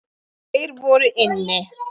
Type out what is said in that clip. Tveir voru inni.